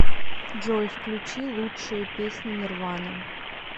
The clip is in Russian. джой включи лучшие песни нирваны